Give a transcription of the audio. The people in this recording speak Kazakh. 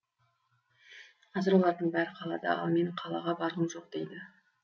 қазір олардың бәрі қалада ал менің қалаға барғым жоқ дейді